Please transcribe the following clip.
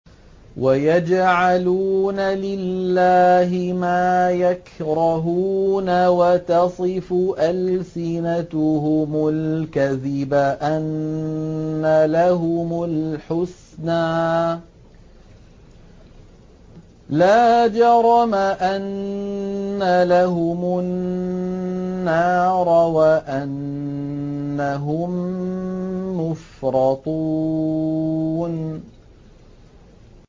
وَيَجْعَلُونَ لِلَّهِ مَا يَكْرَهُونَ وَتَصِفُ أَلْسِنَتُهُمُ الْكَذِبَ أَنَّ لَهُمُ الْحُسْنَىٰ ۖ لَا جَرَمَ أَنَّ لَهُمُ النَّارَ وَأَنَّهُم مُّفْرَطُونَ